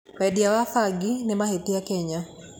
Wendia wa bangi nĩ mahĩtia Kenya.